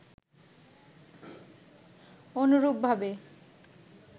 অনুরূপভাবে